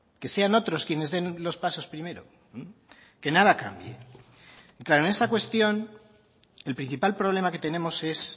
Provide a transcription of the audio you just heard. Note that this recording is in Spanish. que sean otros quienes den los pasos primero que nada cambie y claro en esta cuestión el principal problema que tenemos es